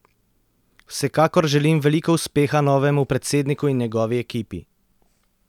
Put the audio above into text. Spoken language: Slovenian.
Vsekakor želim veliko uspeha novemu predsedniku in njegovi ekipi!